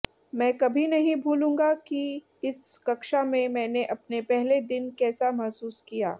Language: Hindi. मैं कभी नहीं भूलूंगा कि इस कक्षा में मैंने अपने पहले दिन कैसा महसूस किया